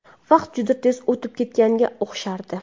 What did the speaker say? Vaqt juda tez o‘tib ketganga o‘xshardi.